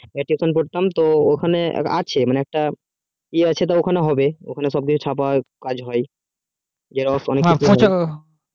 আমি যখন tuition পড়তাম ওখানে আছে মানে একটা ই আছে ওখানে সব কিছু চাপা হয়